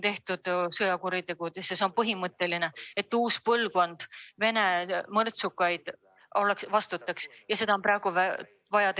See on põhimõtte küsimus, et uus põlvkond Vene mõrtsukaid vastutaks.